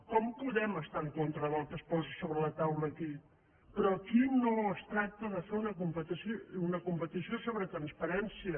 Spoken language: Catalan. com podem estar en contra del que es posa sobre la taula aquí però aquí no es tracta de fer una competició sobre transparència